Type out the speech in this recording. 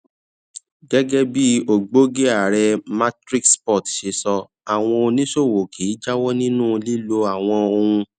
gégé bí ògbógi ààrẹ matrix port ṣe sọ àwọn oníṣòwò kì í jáwó nínú lílo àwọn ohun